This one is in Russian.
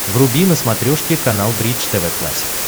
вруби на смотрешке канал бридж тв классик